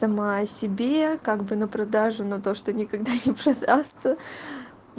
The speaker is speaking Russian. сама себе как бы на продажу но то что никогда не продастся